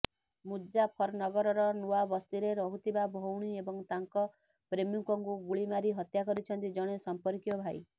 ମୁଜ୍ଜାଫରନଗରର ନୂଆବସ୍ତିରେ ରହୁଥିବା ଭଉଣୀ ଏବଂ ତାଙ୍କ ପ୍ରେମିକଙ୍କୁ ଗୁଳି ମାରି ହତ୍ୟା କରିଛନ୍ତି ଜଣେ ସମ୍ପର୍କୀୟ ଭାଇ